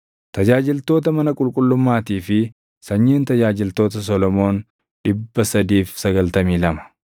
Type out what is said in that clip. Tajaajiltoota mana qulqullummaatii fi sanyiin tajaajiltoota Solomoon 392.